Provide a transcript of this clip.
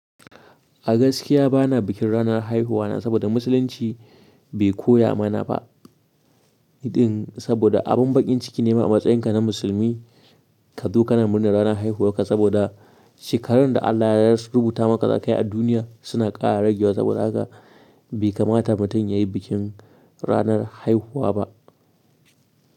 A gaskiya bana bikin ranar haihuwana saboda musulunci bai koya mana ba. Din saboda abun bakin ciki ne ma a matsayinka na musulmi ka zo kana murnar ranar haihuwarka saboda shekarun da Allah ya ras rubuta maka za ka yi a duniya suna kara ragewa saboda haka bai kamata mutum ya yi bikin ranar haihuwa ba.